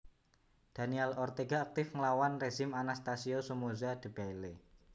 Daniel Ortega aktif nglawan rezim Anastasio Somoza Debayle